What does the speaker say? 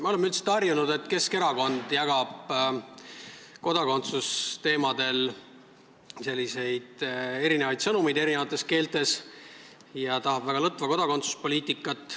Me oleme üldiselt harjunud, et Keskerakond jagab kodakondsusteemadel eri keeltes erinevaid sõnumeid ja tahab väga lõtva kodakondsuspoliitikat.